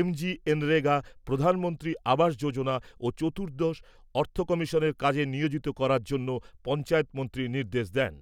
এমজিএনরেগা, প্রধান মন্ত্রী আবাস চতুর্দশ অর্থকমিশনের কাজে নিয়োজিত করার জন্য পঞ্চায়েত মন্ত্রী নির্দেশ দেন।